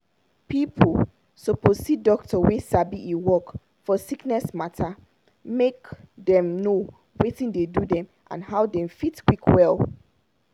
people suppose see doctor wey sabi e work for sickness matter make dem know watin dey do dem and how dem fit quick well.